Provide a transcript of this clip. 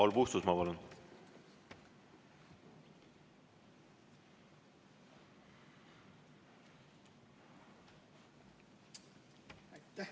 Paul Puustusmaa, palun!